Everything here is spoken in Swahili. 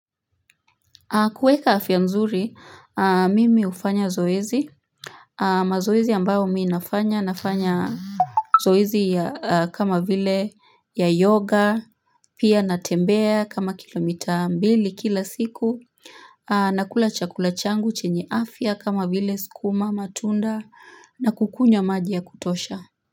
Kueka afya nzuri, mimi hufanya zoezi mazoezi ambao mi nafanya nafanya Zoezi ya kama vile ya yoga, pia natembea kama kilomita mbili kila siku nakula chakula changu chenye afya kama vile sukuma, matunda na kukunya maji ya kutosha.